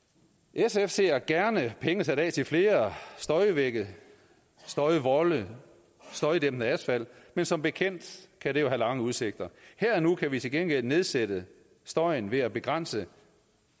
sf ser gerne penge sat af til flere støjvægge støjvolde støjdæmpende asfalt men som bekendt kan det jo have lange udsigter her og nu kan vi til gengæld nedsætte støjen ved at begrænse